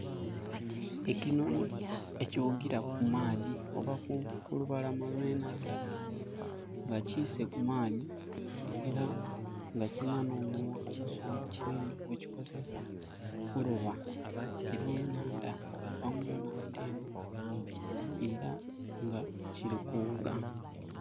Ekinoni ekiwugira ku maadhi oba kulubalama olwe nandha nga kiseeku maadhi era nga kirina no munwa musongovu inho gwe kikozesa okuloba ebye naandha okuva munaandha eno era nga kiri kuwuuga